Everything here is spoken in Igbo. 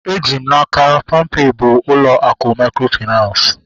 Eji m n'aka, palmpay bụ ụlọ akụ mikrofinansi